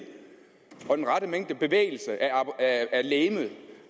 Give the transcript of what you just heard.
og den rette mængde bevægelse af legemet